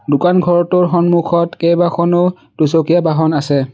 দোকান ঘৰটোৰ সন্মুখত কেইবাখনো দুচকীয়া বাহন আছে।